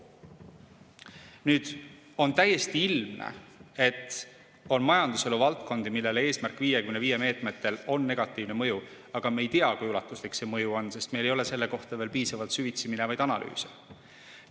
On täiesti ilmne, et on majanduselu valdkondi, millele "Eesmärk 55" meetmetel on negatiivne mõju, aga me ei tea, kui ulatuslik see mõju on, sest meil ei ole selle kohta veel piisavalt süvitsi minevaid analüüse.